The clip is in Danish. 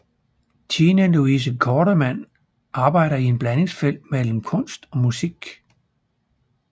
Tine Louise Kortermand arbejder i et blandingsfelt mellem kunst og musik